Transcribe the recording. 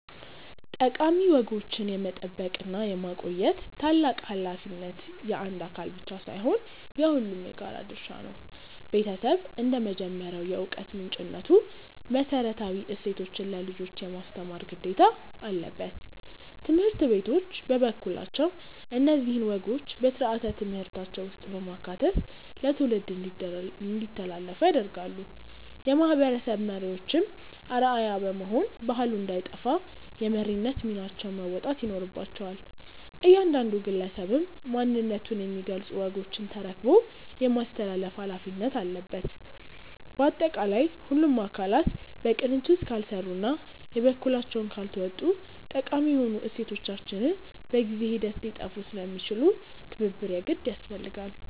ጠቃሚ ወጎችን የመጠበቅና የማቆየት ታላቅ ኃላፊነት የአንድ አካል ብቻ ሳይሆን የሁላችንም የጋራ ድርሻ ነው። ቤተሰብ እንደ መጀመሪያው የዕውቀት ምንጭነቱ መሰረታዊ እሴቶችን ለልጆች የማስተማር ግዴታ አለበት። ትምህርት ቤቶች በበኩላቸው እነዚህን ወጎች በሥርዓተ ትምህርታቸው ውስጥ በማካተት ለትውልድ እንዲተላለፉ ያደርጋሉ። የማህበረሰብ መሪዎችም አርአያ በመሆን ባህሉ እንዳይጠፋ የመሪነት ሚናቸውን መወጣት ይኖርባቸዋል። እያንዳንዱ ግለሰብም ማንነቱን የሚገልጹ ወጎችን ተረክቦ የማስተላለፍ ኃላፊነት አለበት። ባጠቃላይ ሁሉም አካላት በቅንጅት ካልሰሩና የበኩላቸውን ካልተወጡ ጠቃሚ የሆኑ እሴቶቻችን በጊዜ ሂደት ሊጠፉ ስለሚችሉ ትብብር የግድ ያስፈልጋል።